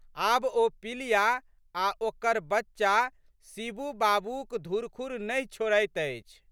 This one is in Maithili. आब ओ पिलिया आ' ओकर बच्चा शिबू बाबूक धुरखुर नहि छोड़ैत अछि।